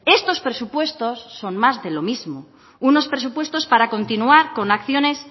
estos presupuestos son más de lo mismo unos presupuestos para continuar con acciones